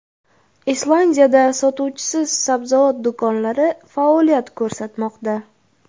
Islandiyada sotuvchisiz sabzavot do‘konlari faoliyat ko‘rsatmoqda.